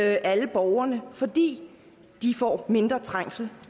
alle borgerne fordi de får mindre trængsel